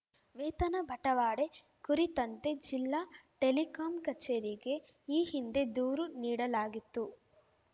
ವೇತನ ಬಟವಾಡೆ ಕುರಿತಂತೆ ಜಿಲ್ಲಾ ಟೆಲಿಕಾಂ ಕಚೇರಿಗೆ ಈ ಹಿಂದೆ ದೂರು ನೀಡಲಾಗಿತ್ತು